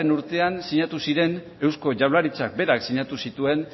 urtean sinatu ziren eusko jaurlaritzak berak sinatu zituen